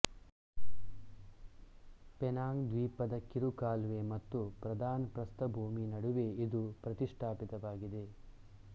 Penang ದ್ವೀಪದ ಕಿರು ಕಾಲುವೆ ಮತ್ತು ಪ್ರಧಾನ ಪ್ರಸ್ಥಭೂಮಿ ನಡುವೆ ಇದು ಪ್ರತಿಷ್ಟಾಪಿತವಾಗಿದೆ